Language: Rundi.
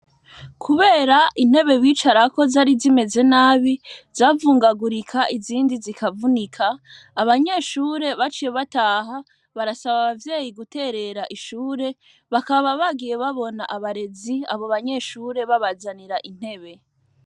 Kubera intebe bicarako zari zimeze nabi zavungagurika izindi zikavunika abanyeshure baciye bataha barasaba abavyeyi guterera ishure bakaba bagiye babona abarezi abo banyeshure babazanira intebe.